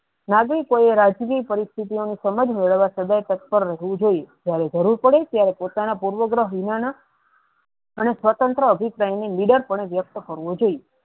નાગરીકો એ રજની પરિસ્થિતિયોને સમજ મેળવા સદેવ તત્પર રેહવું જોયીયે જયારે જરૂર પડે ત્યારે પોતાના પૂર્વગ્રહવિના ના અને સ્વંત્ર અભિપ્રાય ની leader પણ વ્યક્ત કરવો જોયીયે.